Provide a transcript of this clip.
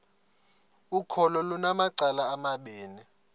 ukholo lunamacala amabini